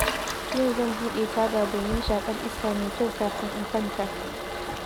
Yau zan buɗe taga domin shaƙar iska mai kyau kafin in kwanta